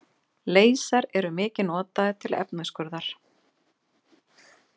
Leysar eru mikið notaðir til efnisskurðar.